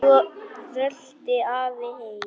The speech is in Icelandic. Svo rölti afi heim.